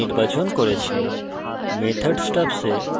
এখানে আমি public নির্বাচন করেছি